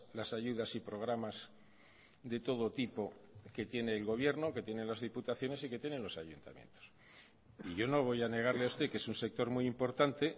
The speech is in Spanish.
las ayudas y programas de todo tipo que tiene el gobierno que tienen las diputaciones y que tienen los ayuntamientos yo no voy a negarle a usted que es un sector muy importante